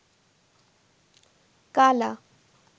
কালা